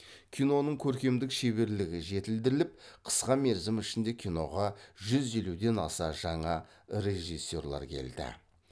киноның көркемдік шеберлігі жетілдіріліп қысқа мерзім ішінде киноға жүз елуден аса жаңа режиссерлер келді